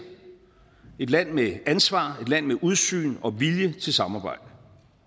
et land med ansvar et land med udsyn og vilje til samarbejde